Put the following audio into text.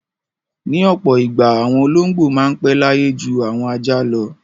Ní ọ̀pọ̀ ìgbà àwọn olóńgbò máa pẹ́ láyé ju àwọn ajá lọ.